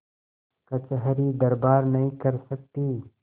कचहरीदरबार नहीं कर सकती